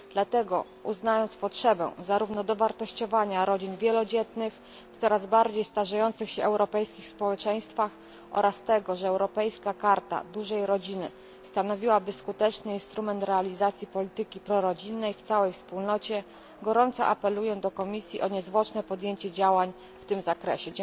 Dlatego, uznając potrzebę zarówno dowartościowania rodzin wielodzietnych w coraz bardziej starzejących się europejskich społeczeństwach oraz tego, że Europejska Karta Dużej Rodziny stanowiłaby skuteczny instrument realizacji polityki prorodzinnej w całej Wspólnocie, gorąco apeluję do Komisji o niezwłoczne podjęcie działań w tym zakresie.